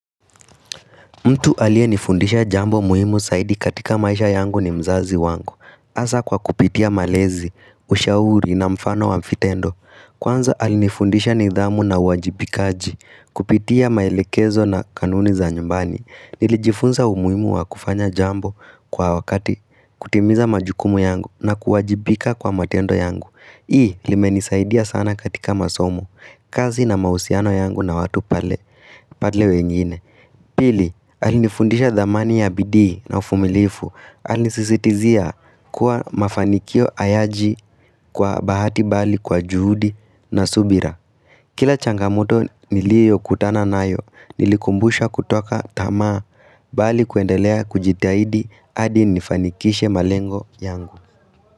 Mtu alie nifundisha jambo muhimu saidi katika maisha yangu ni mzazi wangu Asa kwa kupitia malezi, ushauri na mfano wa mfitendo Kwanza alinifundisha nidhamu na uwajibika aji Kupitia mailekezo na kanuni za nyumbani Nilijifunza umuhimu wa kufanya jambo kwa wakati kutimiza majukumu yangu na kuwajibika kwa matendo yangu Hii limeni saidiya sana katika masomo kazi na mausiano yangu na watu pale wengine Pili, alinifundisha dhamani ya bidii na ufumilifu, alinisisitizia kuwa mafanikio ayaji kwa bahati bali kwa juhudi na subira. Kila changamoto nilio kutana nayo, nilikumbusha kutoka tama bali kuendelea kujitahidi adi nifanikishe malengo yangu.